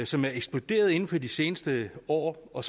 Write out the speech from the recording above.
som er eksploderet inden for de seneste år og